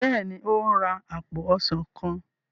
béèni o n rà apo ọsán kán.